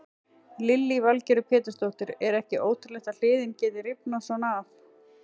Lillý Valgerður Pétursdóttir: Er ekki ótrúlegt að hliðin geti rifnað svona af?